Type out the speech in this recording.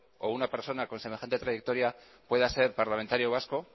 o una persona con semejante trayectoria pueda ser parlamentario vasco